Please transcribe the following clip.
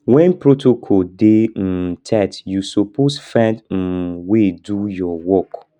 wen protocol dey um tight you suppose find um way do your work